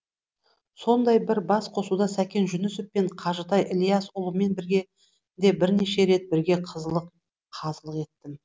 сондай бір бас қосуда сәкен жүнісов пен қажытай ілиясұлымен бірге де бірнеше рет бірге қазылық еттім